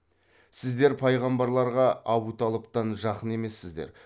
сіздер пайғамбарларға абуталыптан жақын емессіздер